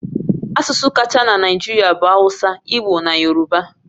Asụsụ kacha na Naịjirịa bụ Hausa, Igbo na Yoruba